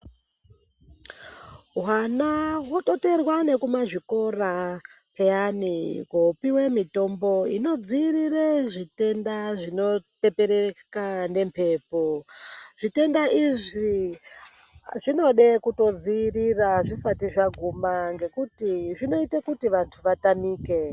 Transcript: Hwana wototeerwa nekumazvikora peyani kopiwe mitombo inodziirire zvitenda zvinopepereka nembepo. Zvitenda izvi zvinode kutodziirira zvisati zvaguma ngekuti zvinoite kuti vantu vatamike.